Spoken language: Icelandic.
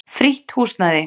Frítt húsnæði.